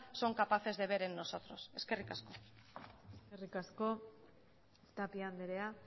son capaces de ver en nosotros eskerrik asko eskerrik asko tapia andrea